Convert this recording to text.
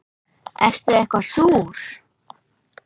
Ertu eitthvað súr?